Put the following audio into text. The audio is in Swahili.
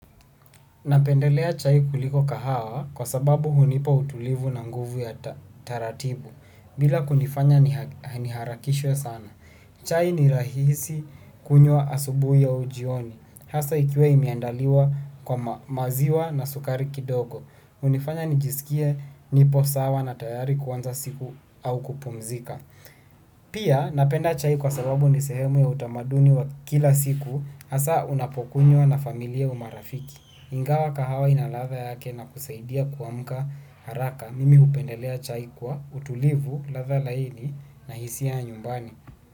Napendelea chai kuliko kahawa kwa sababu hunipa utulivu na nguvu ya taratibu bila kunifanya niharakishwe sana. Chai ni rahisi kunywa asubuhi au jioni, hasa ikiwa imeandaliwa kwa maziwa na sukari kidogo. Hunifanya nijisikie nipo sawa na tayari kuanza siku au kupumzika. Pia napenda chai kwa sababu ni sehemu ya utamaduni wa kila siku, hasa unapokunywa na familia au marafiki. Ingawa kahawa ina ladha yake na kusaidia kuamuka haraka mimi hupendelea chai kwa utulivu ladha laini na hisia ya nyumbani.